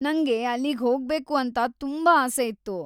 ನಂಗೆ ಅಲ್ಲಿಗ್ಹೋಗ್ಬೇಕು ಅಂತ ತುಂಬಾ ಆಸೆ ಇತ್ತು.